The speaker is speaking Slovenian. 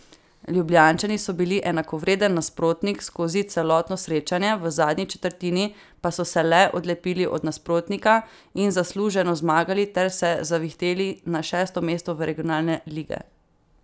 Ljubljančani so bili enakovreden nasprotnik skozi celotno srečanje, v zadnji četrtini pa so se le odlepili od nasprotnika in zasluženo zmagali ter se zavihteli na šesto mesto regionalne lige.